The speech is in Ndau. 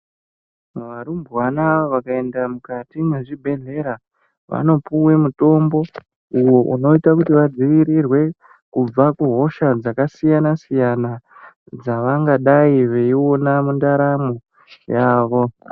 Varumbwana vakaenda mukati me zvibhedhlera vanopuwe mitombo uwo unoite kuti vadzivirirwe kubva ku hosha dzaka siyana siyana dzavangadai veiona mundaramo yavo.